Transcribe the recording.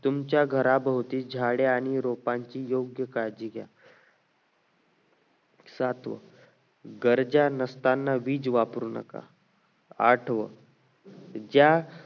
तुमच्या घराभोवती झाडे आणि रोपांची योग्य काळजी घ्या सातवं गरजा नसताना वीज वापरू नका आठवं ज्या